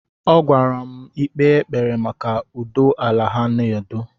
Ọ gwara m ikpe ekpere maka ụdọ ala ha na-adọ.